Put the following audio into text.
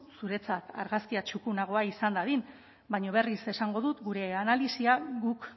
zuretzat argazkia txukunagoa izan dadin baina berriz esango dut gure analisia guk